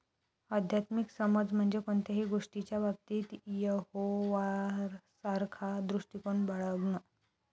आध्यात्मिक समज म्हणजे कोणत्याही गोष्टीच्या बाबतीत यहोवासारखा दृष्टिकोन बाळगणं.